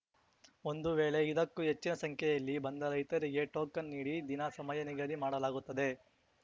ಒಂದು ವೇಳೆ ಇದಕ್ಕೂ ಹೆಚ್ಚಿನ ಸಂಖ್ಯೆಯಲ್ಲಿ ಬಂದ ರೈತರಿಗೆ ಟೋಕನ್‌ ನೀಡಿ ದಿನ ಸಮಯ ನಿಗದಿ ಮಾಡಲಾಗುತ್ತದೆ